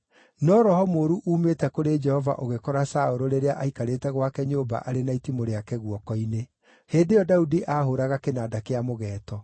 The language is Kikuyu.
No roho mũũru uumĩte kũrĩ Jehova ũgĩkora Saũlũ rĩrĩa aikarĩte gwake nyũmba arĩ na itimũ rĩake guoko-inĩ. Hĩndĩ ĩyo Daudi aahũũraga kĩnanda kĩa mũgeeto.